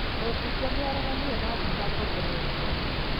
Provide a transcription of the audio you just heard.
Mũmbunge nĩ areganire na thitango mbere ya igoti